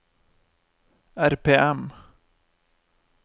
RPM